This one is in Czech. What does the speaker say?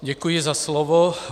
Děkuji za slovo.